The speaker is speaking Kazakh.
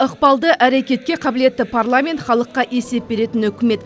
ықпалды әрекетке қабілетті парламент халыққа есеп беретін үкімет